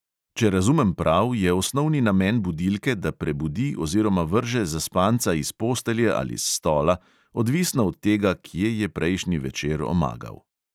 Če razumem prav, je osnovni namen budilke, da prebudi oziroma vrže zaspanca iz postelje ali s stola, odvisno od tega, kje je prejšnji večer omagal.